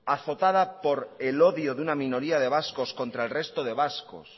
azotada por el odio de una minoría de vascos contra el resto de vascos